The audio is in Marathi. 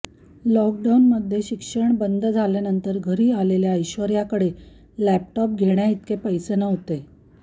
लॉकडाऊनमध्ये शिक्षण बंद झाल्यानंतर घरी आलेल्या ऐश्वर्याकडे लॅपटॉप घेण्याइतके पैसे नव्हते